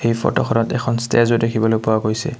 এই ফটোখনত এখন ষ্টেজও দেখিবলৈ পোৱা গৈছে।